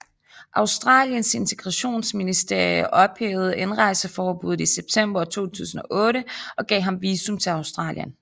Australiens Integrationsministerie ophævede indrejseforbuddet i september 2008 og gav ham visum til Australien